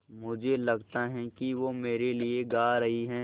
मुझे लगता है कि वो मेरे लिये गा रहीं हैँ